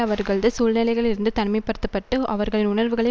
அவர்களது சூழ்நிலைகளிலிருந்து தனிமை படுத்த பட்டு அவர்களது உணர்வுகள